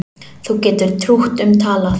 Þú getur trútt um talað